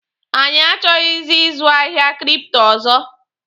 Anyị achọghị ịzụ ahịa kripto ọzọ.